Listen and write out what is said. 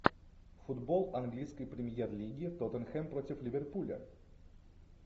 футбол английской премьер лиги тоттенхэм против ливерпуля